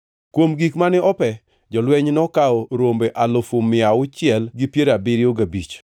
Kuom gik mane ope, jolweny nokawo rombe alufu mia auchiel gi piero abiriyo gabich (675,000),